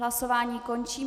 Hlasování končím.